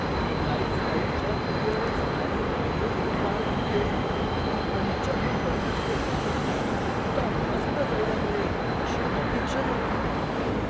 लाइफस्टाइलच्या क्लिअरन्स आयलमध्ये पार्टी ड्रेसमध्ये मला पंच्याहत्तर टक्के सवलतीत इतका मस्त सौदा मिळेल अशी अपेक्षा नव्हती.